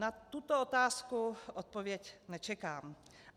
Na tuto otázku odpověď nečekám.